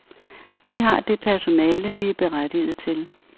Vi har det personale, vi er berettiget til.